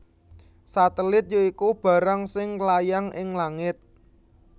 Satelit ya iku barang sing nglayang ing langit